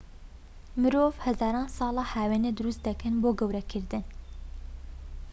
مرۆڤ هەزاران ساڵە هاوێنە دروست دەکەن بۆ گەورەکردن